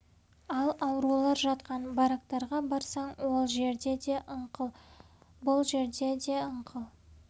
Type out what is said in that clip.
ал аурулар жатқан барактарға барсаң ол жерде де ыңқыл бұл жерде де ыңқыл